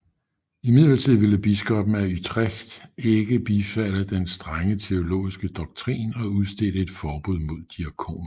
Imidlertid ville biskopen af Utrecht ikke bifalde den strenge teologiske doktrin og udstedte et forbud mod diakoner